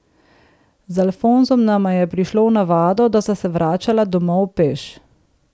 Z Alfonsom nama je prišlo v navado, da sva se vračala domov peš.